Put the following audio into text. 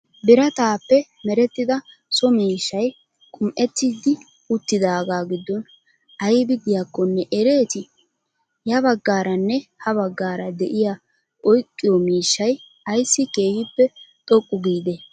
biraatappe meretida so miishshay qum'ettiddi uttidagaa giddon aybi diyakkonne ereeti? ya baggaranne ha baggara de'iya oyqqiyo miishshay aysi keehippe xoqqu giidee?